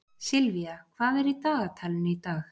Sylvía, hvað er í dagatalinu í dag?